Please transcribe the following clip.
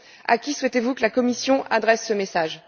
À qui souhaitez vous que la Commission adresse ce message?